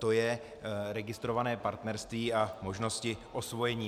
To je registrované partnerství a možnosti osvojení.